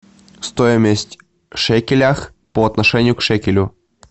стоимость в шекелях по отношению к шекелю